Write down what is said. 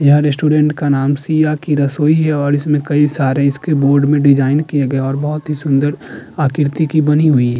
यह रेस्टोरेंट का नाम सिया की रसोई है और इसमें कई सारे इसके बोर्ड में डिजाइन किए गए हैं और बहुत ही सुंदर आकृति की बनी हुई --